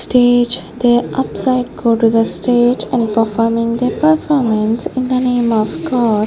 stage the upside go to the stage and performing the performance in the name of god.